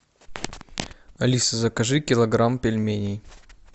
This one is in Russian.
алиса закажи килограмм пельменей